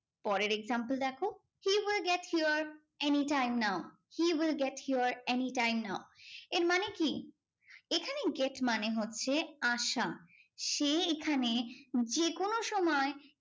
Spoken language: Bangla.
পরের example দেখো he will get here anytime now he will get here anytime now এর মানে কি এখানে get মানে হচ্ছে আসা সে এখানে যে কোনো সময়ে